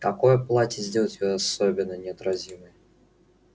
какое платье сделает её особенно неотразимой